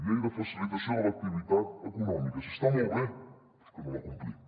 llei de facilitació de l’activitat econòmica si està molt bé però és que no la complim